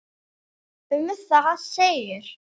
Um það segir